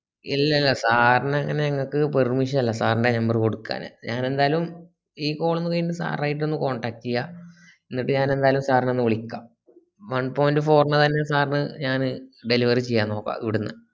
ഇല്ലല്ലാ sir നെ അങ്ങനെ ഇങ്ങക്ക് permission ഇല്ല sir ൻറെ number കൊടുക്കാന് ഞാൻ ന്റാലു ഈ phone ന്ന് വീണ്ടും sir ആയിട്ട് ഒന്ന് contact ചെയ്യാ എന്നിട്ട് ഞാൻ ന്റാലു sir നെ ഇപ്പൊ ഒന്ന് വിളിക്ക one point four തന്നെ sir ന് ഞാന് delivery ചെയ്യാൻ നോക്ക ഇവിടന്ന്